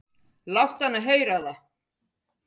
"""Láttu hana heyra það,"""